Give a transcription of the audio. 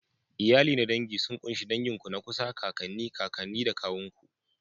Iyali na dangi sun ƙunshi dangin ku na kusa, kakanni, kakanni da kawun ku.